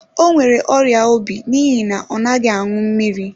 O nwere ọrịa obi n'ihi na ọ naghị aṅụ mmiri.